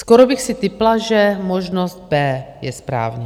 Skoro bych si tipla, že možnost B je správně.